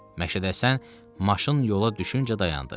Məşədəsən maşın yola düşüncə dayandı.